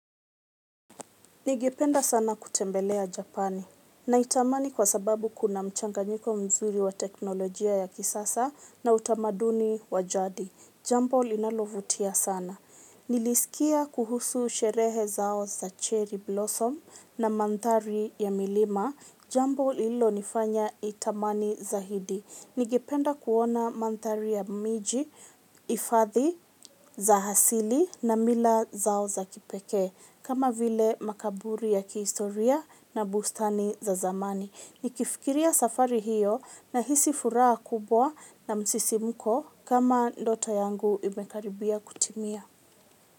Ningependa sana kutembelea Japani na itamani kwa sababu kuna mchanganyiko mzuri wa teknolojia ya kisasa na utamaduni wa jadi. Jambo linalovutia sana. Nilisikia kuhusu sherehe zao za cherry blossom na mandhali ya milima. Jambo lililo nifanya nitamani zaidi. Ningependa kuona mandhali ya miji, hifadhi za asili na mila zao za kipekee. Kama vile makaburi ya kihistoria na bustani za zamani. Ni kifikiria safari hiyo na hisi furaha kubwa na msisimko kama ndoto yangu imekaribia kutimia.